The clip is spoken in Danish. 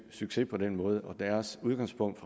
succes på den måde og deres udgangspunkt